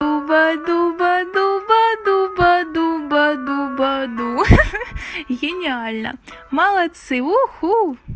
баду баду баду баду баду баду гениально молодцы уху